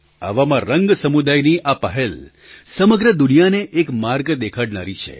આવામાં રંગ સમુદાયની આ પહેલ સમગ્ર દુનિયાને એક માર્ગ દેખાડનારી છે